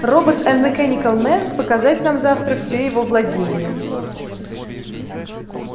роботс энд мекэникел мэн показать нам завтра все его владения